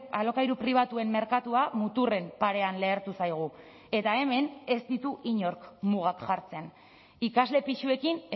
alokairu pribatuen merkatua muturren parean lehertu zaigu eta hemen ez ditu inork mugak jartzen ikasle pisuekin